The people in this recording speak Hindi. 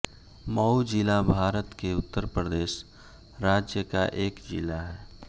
मऊ ज़िला भारत के उत्तर प्रदेश राज्य का एक ज़िला है